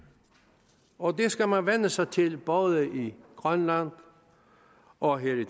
og det skal man vænne sig til både i grønland og her i